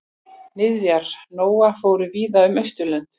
Niðjar Nóa fóru víða um Austurlönd.